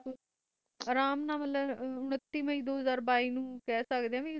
ਅਰਾਮ ਨਾਲ ਖਾ ਸਕਦੇ ਹੈ ਯੂਨਿਟੀ ਮਈ ਦੋ ਹਾਜਰ ਬਾਈ